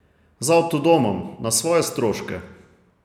Z avtodomom, na svoje stroške.